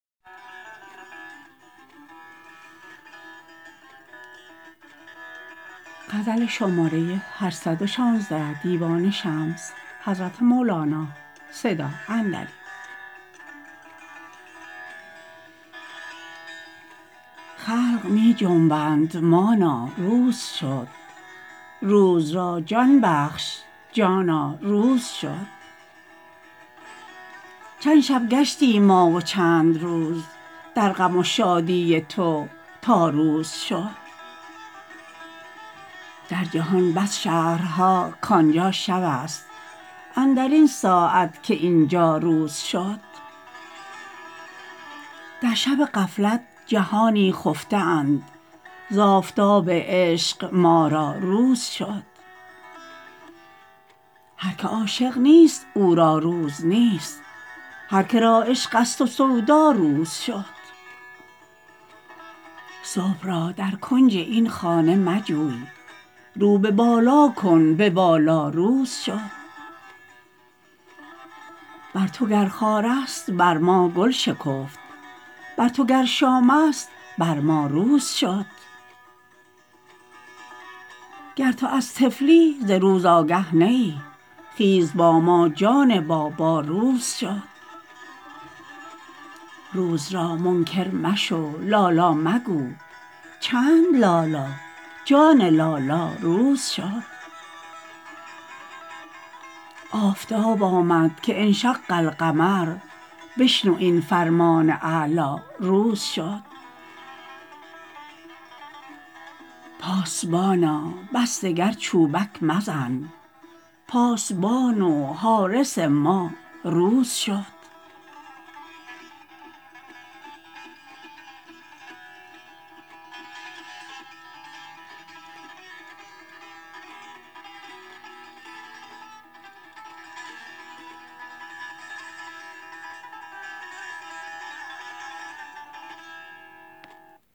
خلق می جنبند مانا روز شد روز را جان بخش جانا روز شد چند شب گشتیم ما و چند روز در غم و شادی تو تا روز شد در جهان بس شهرها کان جا شبست اندر این ساعت که این جا روز شد در شب غفلت جهانی خفته اند ز آفتاب عشق ما را روز شد هر که عاشق نیست او را روز نیست هر که را عشقست و سودا روز شد صبح را در کنج این خانه مجوی رو به بالا کن به بالا روز شد بر تو گر خارست بر ما گل شکفت بر تو گر شامست بر ما روز شد گر تو از طفلی ز روز آگه نه ای خیز با ما جان بابا روز شد روز را منکر مشو لا لا مگو چند لا لا جان لالا روز شد آفتاب آمد که انشق القمر بشنو این فرمان اعلا روز شد پاسبانا بس دگر چوبک مزن پاسبان و حارس ما روز شد